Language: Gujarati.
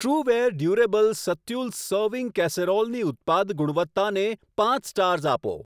ટ્રૂવેર ડ્યુરેબલ સત્યુલ્સ સર્વિંગ કેસેરોલની ઉત્પાદ ગુણવત્તાને પાંચ સ્ટાર્સ આપો.